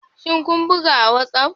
Shin kun buga a WhatsApp?